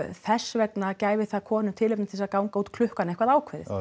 þess vegna gæfi það konum tilefni til þess að ganga út klukkan eitthvað ákveðið